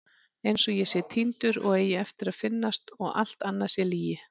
Einsog ég sé týndur og eigi eftir að finnast og allt annað sé lygi.